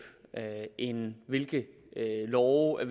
end hvilke love i